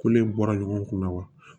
Ko ne bɔra ɲɔgɔn kun na wa